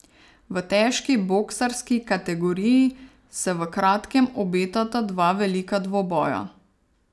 V težki boksarski kategoriji se v kratkem obetata dva velika dvoboja.